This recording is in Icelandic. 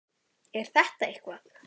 Er þetta eitthvað?